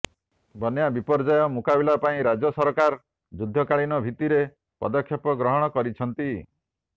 ବନ୍ୟା ବିପର୍ଯ୍ୟୟ ମୁକାବିଲା ପାଇଁ ରାଜ୍ୟ ସରକାର ଯୁଦ୍ଧକାଳୀନ ଭିତ୍ତିରେ ପଦକ୍ଷେପ ଗ୍ରହଣ କରିଛନ୍ତି